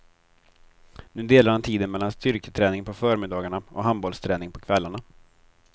Nu delar han tiden mellan styrketräning på förmiddagarna och handbollsträning på kvällarna.